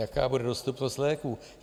Jaká bude dostupnost léků?